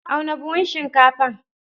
Auna buhun shinkafar.